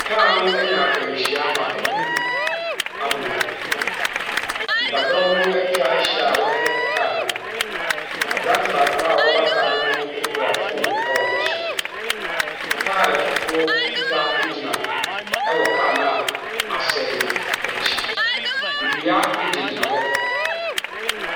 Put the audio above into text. Kaa no anya akwanhyia ma anim amoa. Nnipadɔm no atwa ahyia a wɔrehwɛ kaa no. aberante baako a waba kaa no ho no kura phone wɔ n'aso. Kaa foforɔ fitaa gyina wɔ kaa no a asɛe no akyi. Nnua gyinagyina hɔ.